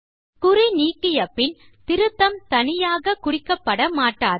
குறி நீக்கிய பின் திருத்தம் தனியாக குறிக்கப்பட மாட்டாது